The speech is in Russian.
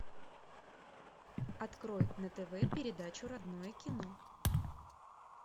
открой на тв передачу родное кино